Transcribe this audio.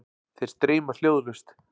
Þeir streyma hljóðlaust.